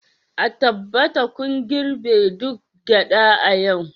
a tabbata kun girbe duk gyada a yau